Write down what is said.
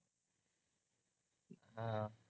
हा